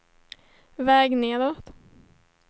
väg nedåt